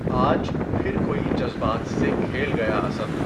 آج پھر کوٸی جذبات سے کھیل گیا اسد